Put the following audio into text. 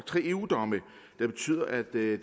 tre eu domme der betyder at det